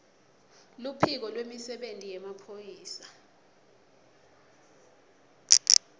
luphiko lwemisebenti yemaphoyisa